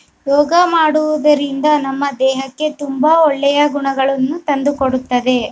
ಯೋಗ ಮಾಡುವುದರಿಂದ ನಮ್ಮ ದೇಹಕ್ಕೆ ತುಂಬಾ ಒಳ್ಳೆಯ ಗುಣಗಳನ್ನು ತಂದು ಕೊಡುತ್ತದೆ.